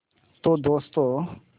तो दोस्तों